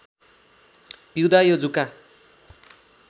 पिउँदा यो जुका